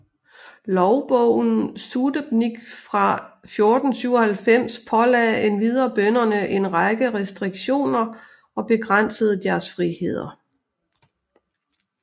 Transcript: Lovbogen Sudebnik fra 1497 pålagde endvidere bønderne en række restriktioner og begrænsede deres friheder